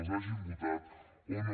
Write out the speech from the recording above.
els hagin votat o no